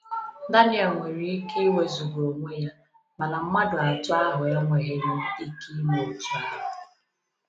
Daniel nwere ike iwezuga onwe ya, mana mmadụ atọ ahụ enweghị nwu ike ime otu ahụ.